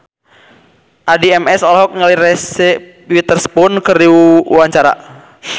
Addie MS olohok ningali Reese Witherspoon keur diwawancara